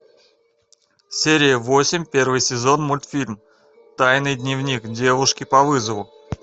серия восемь первый сезон мультфильм тайный дневник девушки по вызову